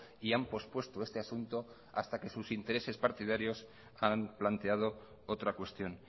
y han pospuesto este asunto hasta que sus intereses partidarios han planteado otra cuestión